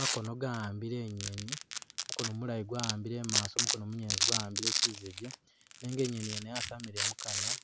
Makono gawambile inyeni , mukono mulayi gwawambile imaso mukono munyelezi gwawambile kyi’zeje nenga inyeni yene yasamiliye mukanwa